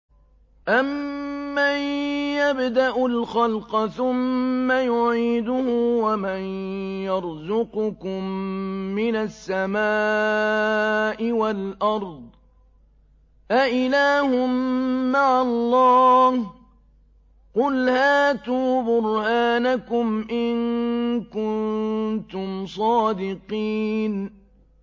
أَمَّن يَبْدَأُ الْخَلْقَ ثُمَّ يُعِيدُهُ وَمَن يَرْزُقُكُم مِّنَ السَّمَاءِ وَالْأَرْضِ ۗ أَإِلَٰهٌ مَّعَ اللَّهِ ۚ قُلْ هَاتُوا بُرْهَانَكُمْ إِن كُنتُمْ صَادِقِينَ